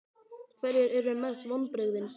Hverjir eru mestu vonbrigðin?